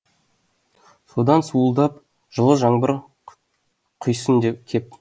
содан суылдап жылы жаңбыр құйсын кеп